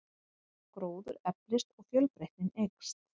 Gróður eflist og fjölbreytnin eykst.